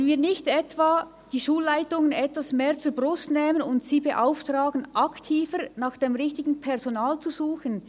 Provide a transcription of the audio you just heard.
Wollen wir nicht die Schulleitungen etwas mehr zur Brust nehmen und sie beauftragen, aktiver nach dem richtigen Personal zu suchen?